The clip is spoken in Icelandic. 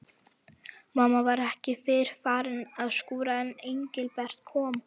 Mamma var ekki fyrr farin að skúra en Engilbert kom.